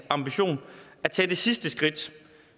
ambition at tage det sidste skridt